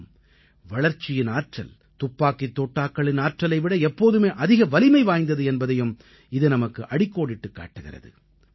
மேலும் வளர்ச்சியின் ஆற்றல் துப்பாக்கித் தோட்டாக்களின் ஆற்றலை விட எப்போதுமே அதிக வலிமை வாய்ந்தது என்பதையும் இது நமக்கு அடிக்கோடிட்டுக் காட்டுகிறது